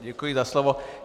Děkuji za slovo.